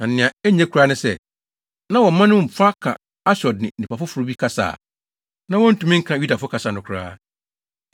Na nea na enye koraa ne sɛ, na wɔn mma no mu fa ka Asdod ne nnipa foforo bi kasa a na wontumi nka Yudafo kasa no koraa.